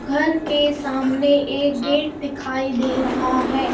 घर के सामने एक गेट दिखाई दे रहा है.